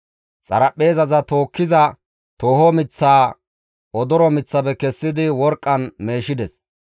Xaraphpheezaza tookkiza tooho miththaa odoro miththafe kessidi worqqan meeshides.